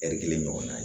ɛri kelen ɲɔgɔn na ye